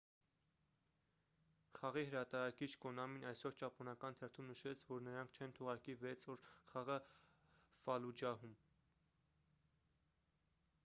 խաղի հրատարակիչ կոնամին այսօր ճապոնական թերթում նշեց որ նրանք չեն թողարկի վեց օր խաղը ֆալլուջահում